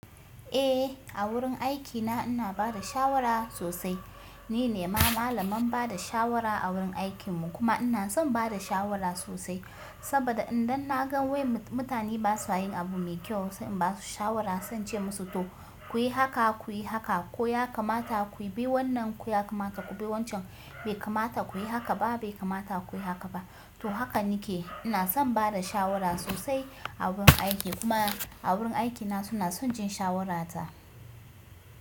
Eh, a wurin aikina ina bada shawara sosai. Ni ne ma malamin bada shawara a wurin aikin mu kuma ina son bada shawara sosai. Saboda idan na gan wai mutane ba sa yin abu mai kyau sai in ba su shawara, zan ce musu to ku yi haka, ku yi haka ko ya kamata ku bi wannan ko ya kamata ku bi wancan. Bai kamata ku yi haka ba, bai kamata ku yi haka ba. To haka nake. Ina son bada shawara sosai a wurin aiki kuma a wurin aikina suna son jin shawarata.